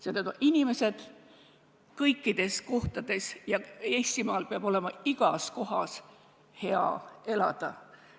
Need on inimesed kõikides kohtades ja see, et Eestimaal peab olema igas kohas hea elada.